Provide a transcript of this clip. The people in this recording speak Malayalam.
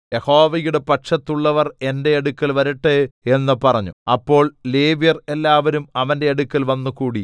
യഹോവയുടെ പക്ഷത്ത് ഉള്ളവർ എന്റെ അടുക്കൽ വരട്ടെ എന്ന് പറഞ്ഞു അപ്പോൾ ലേവ്യർ എല്ലാവരും അവന്റെ അടുക്കൽ വന്നുകൂടി